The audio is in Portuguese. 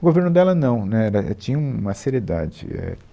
O governo dela não, né, dé, tinha um, uma seriedade, é